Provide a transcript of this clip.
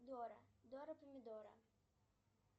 дора дора помидора